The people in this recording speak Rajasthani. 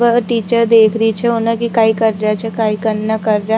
वह टीचर देख रही छे उने की काई कर रिया छे काई कने कर रिया।